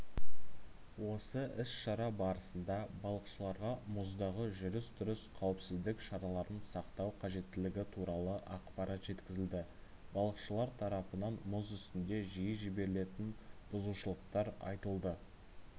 осы іс-шара барысында балықшыларға мұздағы жүріс-тұрыс қауіпсіздік шараларын сақтау қажеттілігі туралы ақпарат жеткізілді балықшылар тарапынан мұз үстінде жиі жіберілетін бұзушылықтар айтылды